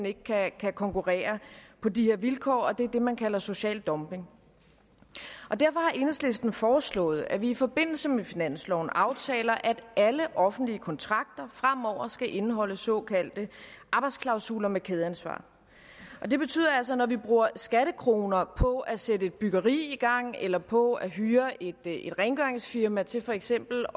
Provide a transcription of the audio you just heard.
ikke kan konkurrere på de vilkår det er det man kalder social dumping derfor har enhedslisten foreslået at vi i forbindelse med finansloven aftaler at alle offentlige kontrakter fremover skal indeholde såkaldte arbejdsklausuler med kædeansvar og det betyder altså at når vi bruger skattekroner på at sætte et byggeri i gang eller på at hyre et rengøringsfirma til for eksempel